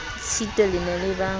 tshitwe le ne le ba